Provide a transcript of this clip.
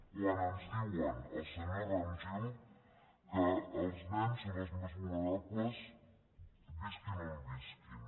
quan ens diu el senyor rajmil que els nens són els més vulnerables visquin on visquin